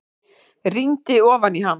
Rýndi ofan í hann.